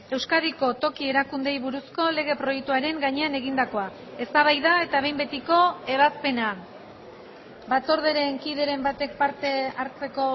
euskadiko toki erakundeei buruzko lege proiektuaren gainean egindakoa eztabaida eta behin betiko ebazpena batzordearen kideren batek parte hartzeko